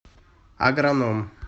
агроном